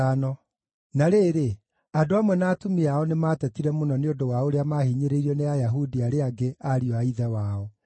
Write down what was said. Na rĩrĩ, andũ amwe na atumia ao nĩmatetire mũno nĩ ũndũ wa ũrĩa maahinyĩrĩirio nĩ Ayahudi arĩa angĩ ariũ a ithe wao.